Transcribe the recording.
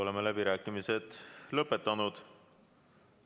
Oleme läbirääkimised lõpetanud.